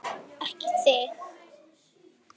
Ekki þig!